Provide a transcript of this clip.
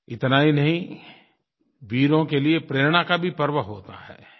इतना ही नहीं वीरों के लिए प्रेरणा का भी पर्व होता है